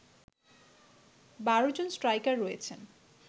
১২ জন স্ট্রাইকার রয়েছেন